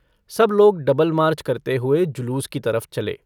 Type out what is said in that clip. सब लोग double march करते हुए जुलूस की तरफ चले।